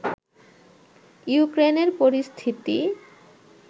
ইউক্রেনের পরিস্থিতি